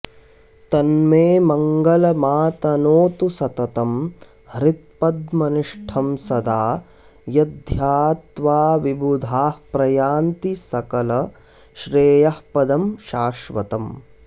तन्मे मङ्गलमातनोतु सततं हृत्पद्मनिष्ठं सदा यद्ध्यात्वा विबुधाः प्रयान्ति सकलश्रेयःपदं शाश्वतम्